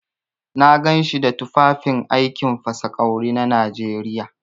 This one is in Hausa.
Na ganshi da tufafin aikin fasa ƙwawri na Najeriya.